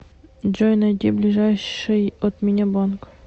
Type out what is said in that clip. джой найди ближайший от меня банк